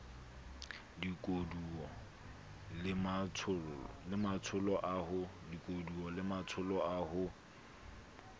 dikoduwa le matsholo a ho